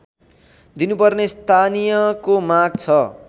दिनुपर्ने स्थानीयको माग छ